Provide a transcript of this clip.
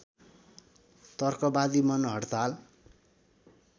तर्कवादी मन हड्ताल